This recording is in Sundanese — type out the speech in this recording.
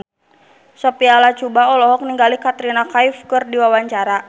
Sophia Latjuba olohok ningali Katrina Kaif keur diwawancara